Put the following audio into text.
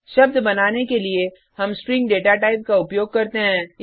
शब्द बनाने के लिए हम स्ट्रिंग डेटा टाइप का उपयोग करते हैं